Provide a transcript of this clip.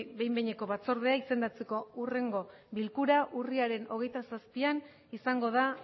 behin behineko batzordea izendatzeko hurrengo bilkura urriaren hogeita zazpian izango da